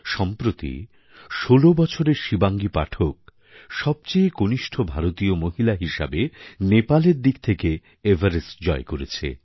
সম্প্রতি ষোলো বছরের শিবাঙ্গী পাঠক সবচেয়ে কনিষ্ঠ ভারতীয় মহিলা হিসেবে নেপালের দিক থেকে এভারেস্ট জয় করেছে